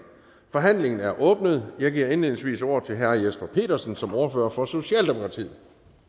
forhandlingen er åbnet jeg giver indledningsvis ordet til herre jesper petersen som ordfører for socialdemokratiet